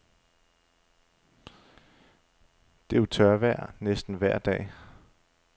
Det er jo tørvejr næsten vejr dag.